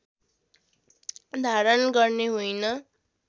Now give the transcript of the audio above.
धारण गर्ने होइन